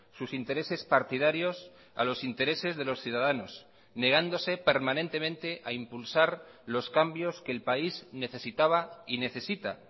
sus intereses partidarios a los intereses de los ciudadanos negándose permanentemente a impulsar los cambios que el país necesitaba y necesita